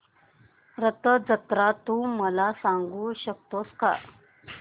रथ जत्रा तू मला सांगू शकतो का